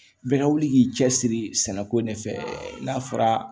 Bɛɛ ka wuli k'i cɛsiri sɛnɛko in de fɛ n'a fɔra